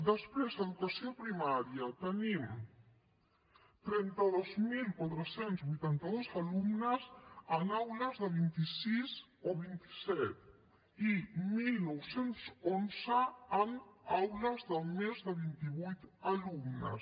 després a educació primària tenim trenta dos mil quatre cents i vuitanta dos alumnes en aules de vint sis o vint set i dinou deu u en aules de més de vint vuit alumnes